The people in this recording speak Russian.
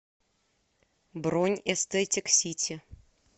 бронь эстетик сити